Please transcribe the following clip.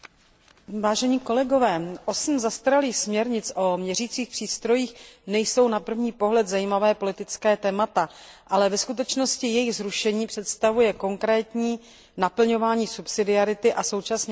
Osm zastaralých směrnic o měřících přístrojích nejsou na první pohled zajímavá politická témata, ale ve skutečnosti jejich zrušení představuje konkrétní naplňování zásady subsidiarity a současně snahu o better regulation.